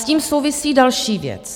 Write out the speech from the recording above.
S tím souvisí další věc.